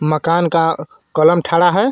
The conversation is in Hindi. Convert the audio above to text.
मकान का कलम ठरा रहा है.